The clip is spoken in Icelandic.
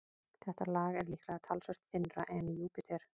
Þetta lag er líklega talsvert þynnra en í Júpíter.